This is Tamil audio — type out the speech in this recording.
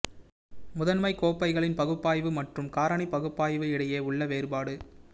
முதன்மை கோப்பைகளின் பகுப்பாய்வு மற்றும் காரணி பகுப்பாய்வு இடையே உள்ள வேறுபாடு